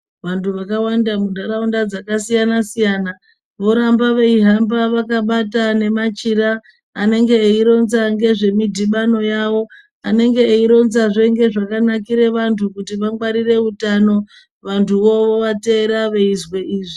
Vantu vakawanda muntaraunda dzakasiyana-siyana voramba veihamba vakabata ngemachira anenge eironza ngezvemidhibano yavo, anenge eironzazve ngezvakanakire vantu kuti vangwarire utano, vantu vovateera veizwe izvi.